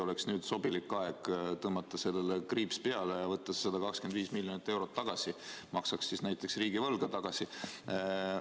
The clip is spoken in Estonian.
Äkki oleks sobilik aeg tõmmata kriips peale ja võtta see 125 miljonit eurot tagasi, maksaks näiteks riigivõlga ära?